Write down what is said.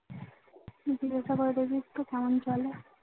জিজ্ঞাসা করে দেখিস তো কেমন চলে